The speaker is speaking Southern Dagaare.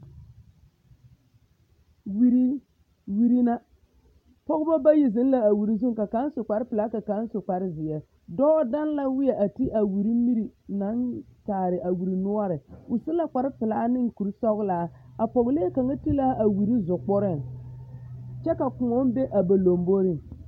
Wiri na pɔɡeba bayi zeŋ na a wiri zu ka kaŋ su kparpelaa ka kaŋ su kparzeɛ dɔɔ daŋ la wēɛ a te a wiri miri naŋ kyaare a wiri noɔre o su la kparpelaa ne kursɔɡelaa a pɔɡelee kaŋ te la a wiri zukpuriŋ kyɛ ka kõɔ be a ba lamboriŋ